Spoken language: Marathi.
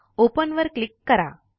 ओपन वर क्लिक करा